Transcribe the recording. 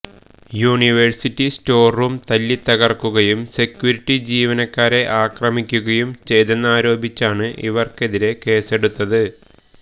university server room തല്ലിത്തകര്ക്കുകയും security ജീവനക്കാരെ അക്രമിക്കുകയും ചെയ്തെന്നാരോപിച്ചാണ് ഇവര്ക്കെതിരെ കേസെടുത്തത്